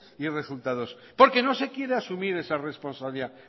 ni resultados porque no se quiere asumir esa responsabilidad